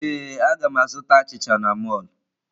Ee, a ga m azụta achịcha n'mọlụ.